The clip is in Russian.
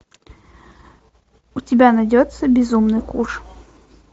у тебя найдется безумный куш